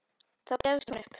Þá gefst hún upp.